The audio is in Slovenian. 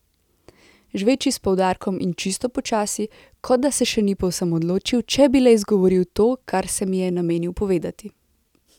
Žveči s poudarkom in čisto počasi, kot da se še ni povsem odločil, če bi le izgovoril to, kar se mi je namenil povedati.